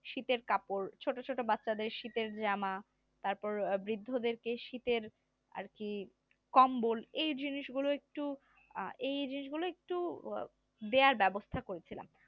শীতের কাপড় ছোট ছোট বাচ্চাদের শীতের জামা তারপর বৃদ্ধদেরকে শীতের আর কি কম্বল এই জিনিসগুলো একটু এই জিনিসগুলো একটু দেয়ার ব্যবস্থা করছিলাম